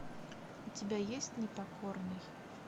у тебя есть непокорный